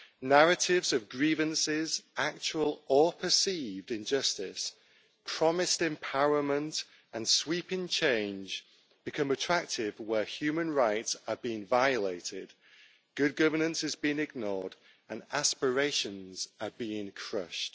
Narratives of grievances, actual or perceived injustice, promised empowerment and sweeping change become attractive where human rights are being violated, good governance is being ignored and aspirations are being crushed.